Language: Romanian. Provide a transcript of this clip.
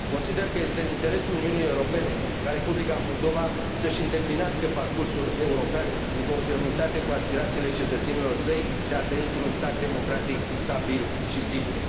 Consider că este în interesul Uniunii Europene ca Republica Moldova să și îndeplinească parcursul european în conformitate cu aspirațiile cetățenilor săi de a trăi într un stat democratic stabil și sigur.